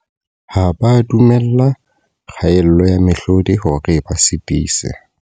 Ha ba a dumella kgaello ya mehlodi hore e ba sitise.